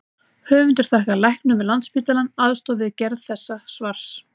Höfundar þakkar læknum við Landspítalann aðstoð við gerð þessa svars.